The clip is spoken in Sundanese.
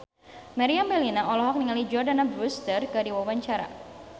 Meriam Bellina olohok ningali Jordana Brewster keur diwawancara